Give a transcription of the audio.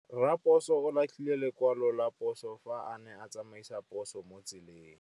Raposo o latlhie lekwalô ka phosô fa a ne a tsamaisa poso mo motseng.